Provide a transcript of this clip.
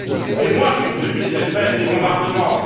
Et moi, j'ai vu les effets des bombardements.